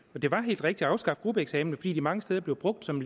det var helt rigtigt at afskaffe gruppeeksamener fordi de mange steder blev brugt som